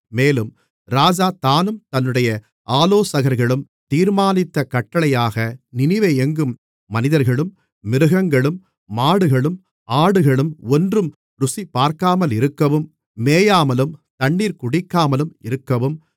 மேலும் ராஜா தானும் தன்னுடைய ஆலோசகர்களும் தீர்மானித்த கட்டளையாக நினிவே எங்கும் மனிதர்களும் மிருகங்களும் மாடுகளும் ஆடுகளும் ஒன்றும் ருசிபார்க்காமலிருக்கவும் மேயாமலும் தண்ணீர் குடிக்காமலும் இருக்கவும்